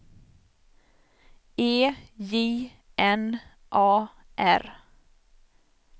E J N A R